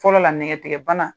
Fɔlɔ la nɛgɛtigɛbana